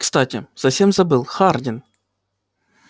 кстати совсем забыл хардин